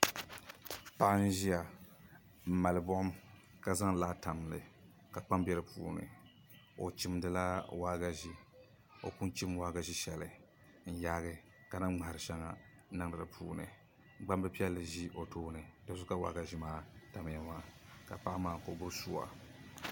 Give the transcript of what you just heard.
Paɣa n ʒiya n mali buɣum ka zaŋ laa tam dinni ka kpam bɛ di puuni o chimdila waagashe o pun chim waagashe shɛli n yaagi ka na ŋmahari shɛŋa n niŋdi di puuni gbambili piɛlli ʒi o tooni di zuɣu ka waagashe maa tamya maa ka paɣa maa ka o gbubi suwa